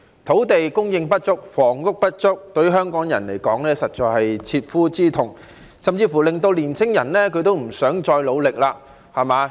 土地供應不足、房屋不足，對香港人來說實在是切膚之痛，甚至令年輕人不想再努力。